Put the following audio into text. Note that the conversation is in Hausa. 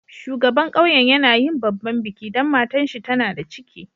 Shugaban ƙauyen yana yin babban biki dan matan shi tana da ciki.